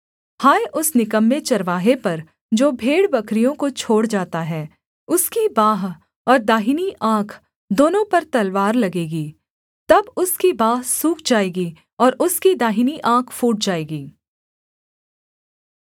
हाय उस निकम्मे चरवाहे पर जो भेड़बकरियों को छोड़ जाता है उसकी बाँह और दाहिनी आँख दोनों पर तलवार लगेगी तब उसकी बाँह सूख जाएगी और उसकी दाहिनी आँख फूट जाएगी